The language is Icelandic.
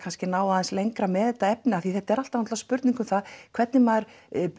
náð aðeins lengra með þetta efni af því að þetta er alltaf spurning um það hvernig maður